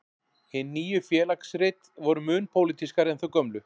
Hin nýju Félagsrit voru mun pólitískari en þau gömlu.